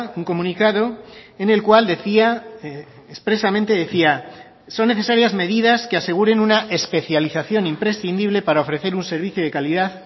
un comunicado en el cual decía expresamente decía son necesarias medidas que aseguren una especialización imprescindible para ofrecer un servicio de calidad